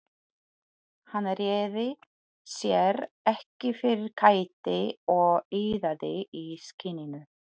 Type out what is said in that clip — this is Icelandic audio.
Hann réði sér ekki fyrir kæti og iðaði í skinninu.